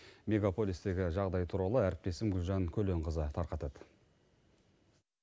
мегаполистегі жағдай туралы әріптесім гүлжан көленқызы тарқатады